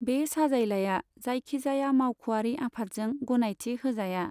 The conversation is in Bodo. बे साजायलाया जायखिजाया मावख'आरि आफादजों गनायथि होजाया।